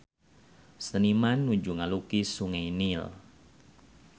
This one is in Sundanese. Seniman nuju ngalukis Sungai Nil